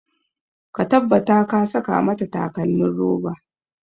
Ka tabbata ka saka mata takalmin roba!